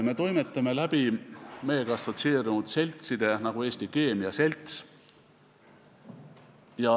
Me toimetame meiega assotsieerunud seltside kaudu, nagu Eesti Keemia Selts.